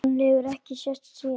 Hann hefur ekki sést síðan!